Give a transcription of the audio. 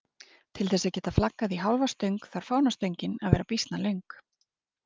Til þess að geta flaggað í hálfa stöng þarf fánastöngin að vera býsna löng.